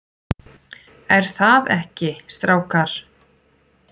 ER ÞAÐ EKKI, STRÁKAR?